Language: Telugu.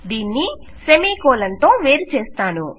దీన్ని సెమికోలన్ తో వేరుచేస్తాను